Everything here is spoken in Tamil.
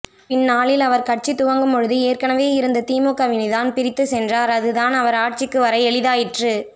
பின்னாளில் அவர் கட்சி துவக்கும்பொழுது ஏற்கனவே இருந்த திமுகவினைத்தான் பிரித்து சென்றார் அதுதான் அவர் ஆட்சிக்கு வர எளிதாயிற்று